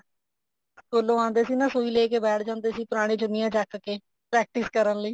ਸਕੂਲੋਂ ਆਉਂਦੇ ਸੀ ਨਾ ਸੁਈ ਲੈਕੇ ਬੈਠ ਜਾਂਦੇ ਸੀ ਪੁਰਾਣੀਆਂ ਚੁੰਨੀਆਂ ਚੱਕ ਕੇ practice ਕਰਨ ਲਈ